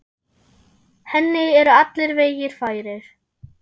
Henni eru allir vegir færir.